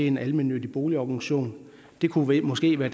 en almennyttig boligorganisation det kunne måske være